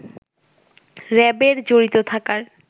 র‍্যাবের জড়িত থাকার